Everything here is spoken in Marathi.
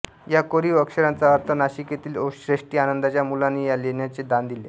या कोरीव अक्षरांचा अर्थ नाशिक येथील श्रेष्ठी आनंदच्या मुलाने या लेण्याचे दान दिले